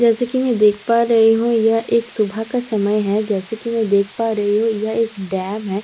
जैसा कि‍ मैं देख पा रही हूँ यह एक सुबह का समय है जैसा के मैं देख पा रही हूँ यह एक डैम है।